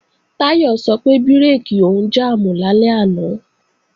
Táyọ̀ sọ pé bírèkì òun jàmù lálẹ́ àná